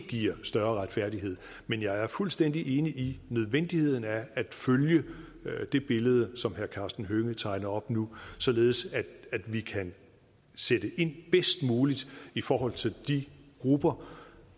giver større retfærdighed men jeg er fuldstændig enig i nødvendigheden af at følge det billede som herre karsten hønge tegner op nu således at vi kan sætte ind bedst muligt i forhold til de grupper